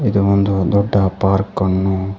ಇದು ಒಂದು ದೊಡ್ಡ ಪಾರ್ಕ್ ಅನ್ನು--